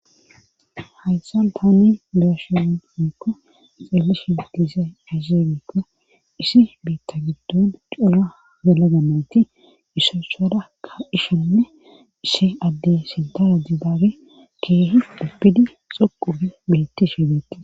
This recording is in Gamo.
Hayssan paani beashan ikko ixeelishi matizay azeegikko isi biitta giddon cuna zelaga mayti issotshadakka ishenne ishi addey sintaa jidaabe keehi duppidi xoqufe beetti shebeti.